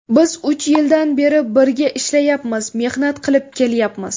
Biz uch yildan beri birga ishlayapmiz, mehnat qilib kelyapmiz.